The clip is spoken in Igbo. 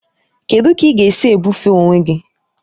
Kedụ ka ị ga-esi ebufe onwe gị?